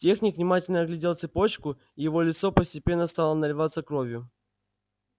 техник внимательно оглядел цепочку и его лицо постепенно стало наливаться кровью